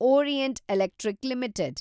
orient Electric limited